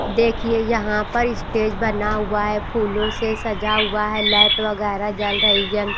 देखिए यहां पर स्टेज बना हुआ हैं फूलों से सजा हुआ है लाइट वगैरा जल रही हैं।